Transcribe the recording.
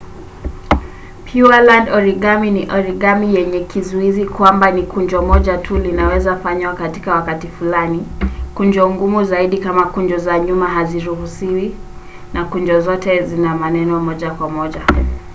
pureland origami ni origami yenye kizuizi kwamba ni kunjo moja tu linaweza fanywa kwa wakati fulani kunjo ngumu zaidi kama kunjo za nyuma haziruhusiwi na kunjo zote zina maeneo moja kwa moja